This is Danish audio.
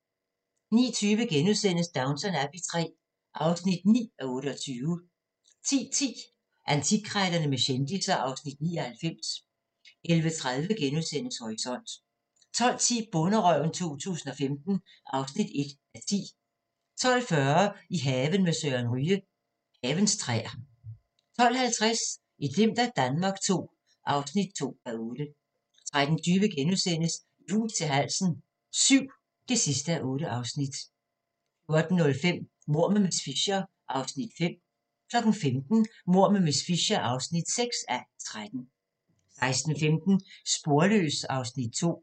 09:20: Downton Abbey III (9:28)* 10:10: Antikkrejlerne med kendisser (Afs. 99) 11:30: Horisont * 12:10: Bonderøven 2015 (1:10) 12:40: I haven med Søren Ryge: Havens træer 12:50: Et glimt af Danmark II (2:8) 13:20: I hus til halsen VII (8:8)* 14:05: Mord med miss Fisher (5:13) 15:00: Mord med miss Fisher (6:13) 16:15: Sporløs (Afs. 2)